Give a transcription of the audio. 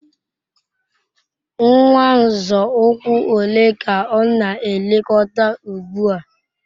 Nwa nzọ ụkwụ ole ka ọ na-elekọta ugbu a?